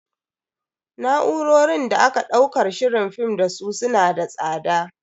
Na'urorin da aka daukar shirin film dasu su na da tsada.